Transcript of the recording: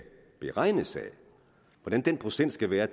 beregnes af hvordan den procent skal være